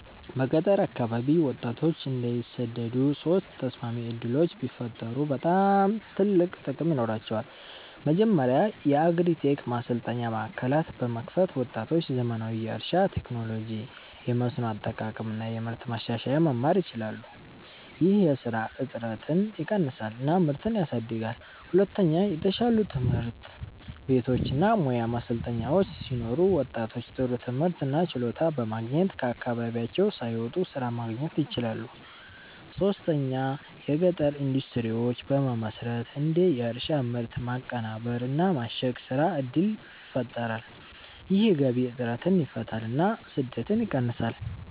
በገጠር አካባቢ ወጣቶች እንዳይሰደዱ ሶስት ተስማሚ ዕድሎች ቢፈጠሩ በጣም ትልቅ ጥቅም ይኖራቸዋል። መጀመሪያ የአግሪ-ቴክ ማሰልጠኛ ማዕከላት በመክፈት ወጣቶች ዘመናዊ የእርሻ ቴክኖሎጂ፣ የመስኖ አጠቃቀም እና የምርት ማሻሻያ መማር ይችላሉ። ይህ የስራ እጥረትን ይቀንሳል እና ምርትን ያሳድጋል። ሁለተኛ የተሻሉ ትምህርት ቤቶች እና ሙያ ማሰልጠኛዎች ሲኖሩ ወጣቶች ጥሩ ትምህርት እና ችሎታ በማግኘት ከአካባቢያቸው ሳይወጡ ስራ ማግኘት ይችላሉ። ሶስተኛ የገጠር ኢንዱስትሪዎች በመመስረት እንደ የእርሻ ምርት ማቀናበር እና ማሸግ ስራ እድል ይፈጠራል። ይህ የገቢ እጥረትን ይፈታል እና ስደትን ይቀንሳል።